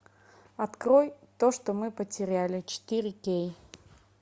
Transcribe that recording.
открой то что мы потеряли четыре кей